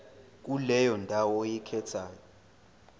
kuleyo ndawo oyikhethayo